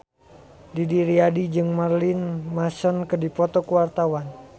Didi Riyadi jeung Marilyn Manson keur dipoto ku wartawan